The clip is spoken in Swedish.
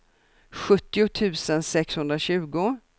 sjuttio tusen sexhundratjugo